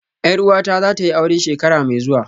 Yar uwata zatayi aure shekara mai zuwa